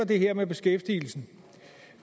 det her med beskæftigelsen